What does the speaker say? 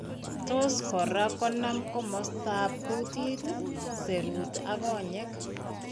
Tos' kora konam komostaap kuutiit, serut ak kony'ek.